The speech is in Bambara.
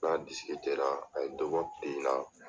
N n'a a ye dɔ bɔ la